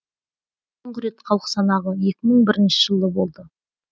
соңғы рет халық санағы екі мың бірінші жылы болды